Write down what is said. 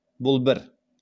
бұл бір